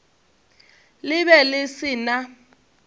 le be le se na